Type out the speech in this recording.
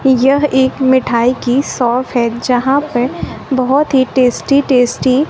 यह एक मिठाई की शॉप है यहां पे बहुत ही टेस्टी टेस्टी --